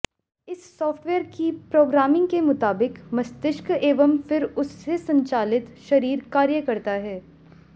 इस साफ्टवेयर की प्रोग्रामिंग के मुताबिक मस्तिष्क एवं फिर उससे संचालित शरीर कार्य करता है